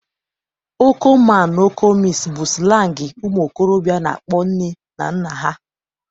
Oko man na oko miss bu slangi ụmuokorobia na-akpọ nne na nna ha